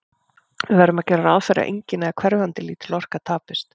Við verðum að gera ráð fyrir að engin, eða hverfandi lítil, orka tapist.